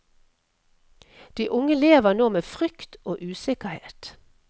De unge lever nå med frykt og usikkerhet.